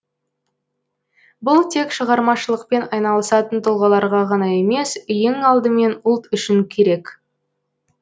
бұл тек шығармашылықпен айналысатын тұлғаларға ғана емес ең алдымен ұлт үшін керек